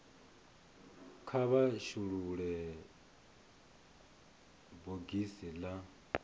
kha vha shulule bogisi la